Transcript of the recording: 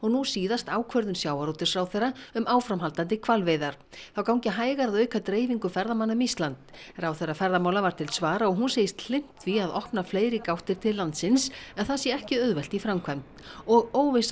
nú síðast ákvörðun sjávarútvegsráðherra um áframhaldandi hvalveiðar þá gangi hægar að auka dreifingu ferðamanna um Ísland ráðherra ferðamála var til svara og hún segist hlynnt því að opna fleiri gáttir til landsins en það sé ekki auðvelt í framkvæmd og óvissa